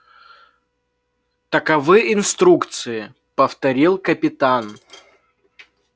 таковы инструкции повторил капитан